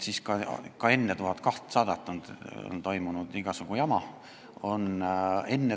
Ka enne selle 1200 euro piiri kehtestamist on toimunud igasugu jama.